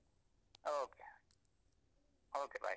Okay okay bye .